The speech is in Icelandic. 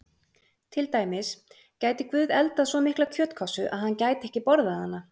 Til dæmis: Gæti Guð eldað svo mikla kjötkássu að hann gæti ekki borðað hana?